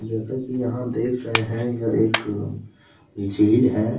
जैसा की यहाँ देख रहे हैं यह एक झील हैं।